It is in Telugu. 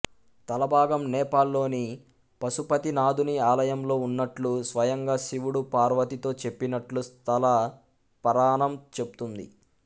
తలభాగం నేపాల్ లోని పసుపతినాధుని ఆలయంలో ఉన్నట్లు స్వయంగా శివుడు పార్వతీతో చెప్పినట్లు స్థల పరాణం చెప్తుంది